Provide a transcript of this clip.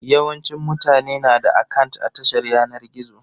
Yawancin mutane na da akant a tashar yanar gizo.